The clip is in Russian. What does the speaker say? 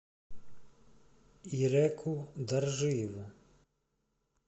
иреку доржиеву